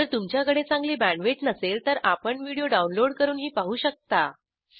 जर तुमच्याकडे चांगली बॅण्डविड्थ नसेल तर आपण व्हिडिओ डाउनलोड करूनही पाहू शकता